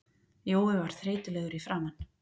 Jói var þreytulegur í framan.